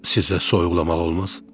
Sizə soyuqlamaq olmaz.